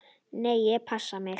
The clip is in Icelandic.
Nei, ég passa mig.